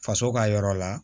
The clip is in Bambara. Faso ka yɔrɔ la